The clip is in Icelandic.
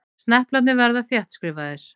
Sneplarnir að verða þéttskrifaðir.